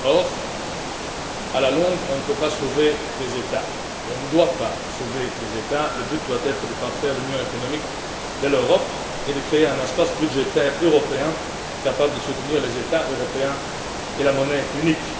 Or, à la longue, on ne peut pas sauver des États, on ne doit pas sauver des États, le but doit être de parfaire l'union économique de l'Europe et de créer un espace budgétaire européen capable de soutenir les États européens et la monnaie unique.